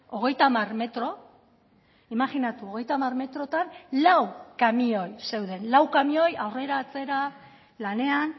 hogeita hamar metro imajinatu hogeita hamar metrotan lau kamioi zeuden lau kamioi aurrera atzera lanean